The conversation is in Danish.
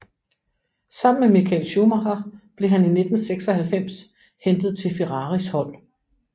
Sammen med Michael Schumacher blev han i 1996 hentet til Ferraris hold